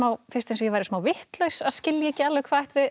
fyrst eins og ég væri smá vitlaus að skilja ekki alveg hvað